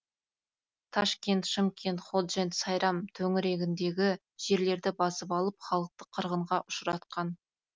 ташкент шымкент ходжент сайрам төңірегіндегі жерлерді басып алып халықты қырғынға ұшыратқан